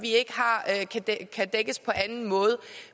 ikke kan dækkes på anden måde